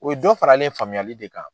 O ye dɔ faralen ye faamuyali de kan.